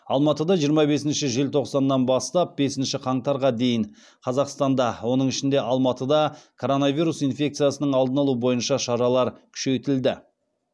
алматыда жиырма бесінші желтоқсаннан бастап бесінші қаңтарға дейін қазақстанда оның ішінде алматыда коронавирус инфекциясының алдын алу бойынша шаралар күшейтілді